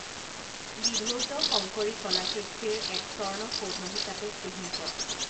বিধৌত শংকৰী কলা কৃষ্টিৰ এক স্বৰ্ণসৌধ হিচাপে চিহ্নিত